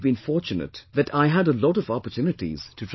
I have been fortunate that I had a lot of opportunities to travel